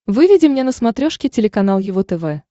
выведи мне на смотрешке телеканал его тв